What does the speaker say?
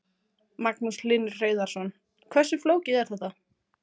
Magnús Hlynur Hreiðarsson: Hversu flókið er þetta?